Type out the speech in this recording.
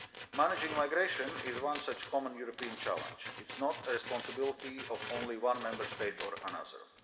Managing migration is one such common European challenge it is not the responsibility of only one Member State or another.